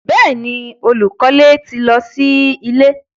Bẹ́ẹ̀ni, olúkọlẹ̀ ti lọ sí ilẹ̀